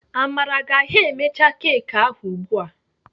Amara ga ha emecha keki ahụ ugbu a.